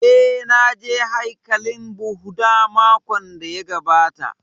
Eh, na je haikalin Bhudha makon da ya gabata